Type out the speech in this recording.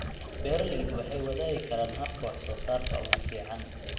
Beeraleydu waxay wadaagi karaan hababka wax soo saarka ugu fiican.